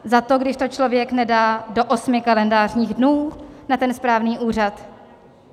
Za to, když to člověk nedá do osmi kalendářních dnů na ten správný úřad?